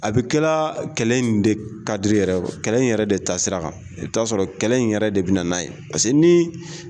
A bɛ kɛra kɛlɛ in de kadri yɛrɛ kɛlɛ in yɛrɛ de taa sira kan i bɛ ta sɔrɔ kɛlɛ in yɛrɛ de bɛ na n'a ye paseke ni.